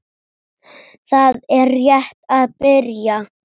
Það er rétt að byrja.